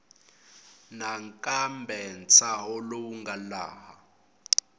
nakambe ntshaho lowu nga laha